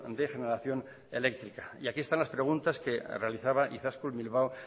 de generación eléctrica aquí están las preguntas que realizaba izaskun bilbao